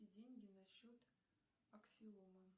деньги на счет аксиома